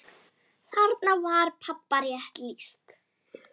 Þarna var pabba rétt lýst.